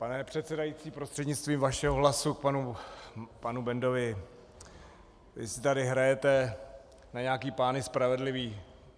Pane předsedající, prostřednictvím vašeho hlasu k panu Bendovi: Vy si tady hrajete na nějaké pány spravedlivé.